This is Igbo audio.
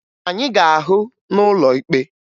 Anyị ga-ahụ n'ụlọ ikpe!